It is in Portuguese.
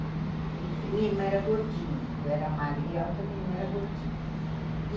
Minha irmã era gordinha, eu era magriota, minha irmã era gordinha.